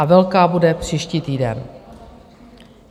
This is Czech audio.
A velká bude příští týden.